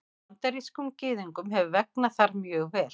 Bandarískum Gyðingum hefur vegnað þar mjög vel.